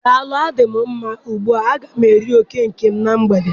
Daalụ adị mụ mma ugbua. A ga m eri oke nke m n'mgbede